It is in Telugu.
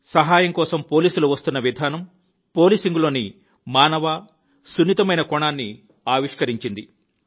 సహాయం కోసం పోలీసులు వస్తున్న విధానం పాలిసింగ్ లోని మానవ మరియు సున్నితమైన కోణాన్ని ఆవిష్కరించింది